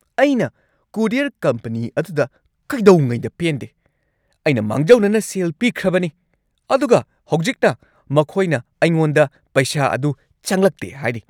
ꯑꯩꯅ courier company ꯑꯗꯨꯗ ꯀꯩꯗꯧꯉꯩꯗ ꯄꯦꯟꯗꯦ꯫ ꯑꯩꯅ ꯃꯥꯡꯖꯧꯅꯅ ꯁꯦꯜ ꯄꯤꯈ꯭ꯔꯕꯅꯤ, ꯑꯗꯨꯒ ꯍꯧꯖꯤꯛꯅ ꯃꯈꯣꯏꯅ ꯑꯩꯉꯣꯟꯗ ꯄꯩꯁꯥ ꯑꯗꯨ ꯆꯪꯂꯛꯇꯦ ꯍꯥꯏꯔꯤ꯫